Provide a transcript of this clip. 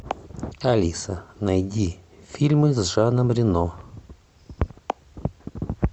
алиса найди фильмы с жаном рено